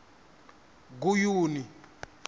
guyuni